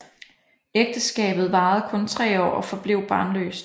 Ægteskabet varede kun tre år og forblev barnløst